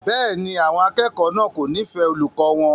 Bẹ́ẹ̀ni, àwọn akẹ́kọ̀ọ́ náà kò nífẹ̀ẹ́ olùkọ́ wọn.